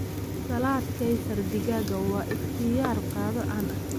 Salad Kaysar digaaga waa ikhtiyaar qado caan ah.